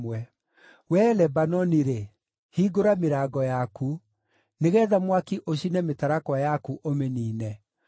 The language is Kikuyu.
Wee, Lebanoni-rĩ, hingũra mĩrango yaku, nĩgeetha mwaki ũcine mĩtarakwa yaku, ũmĩniine!